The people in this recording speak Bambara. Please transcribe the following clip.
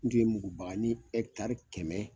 N tun ye mugubagani kɛmɛ.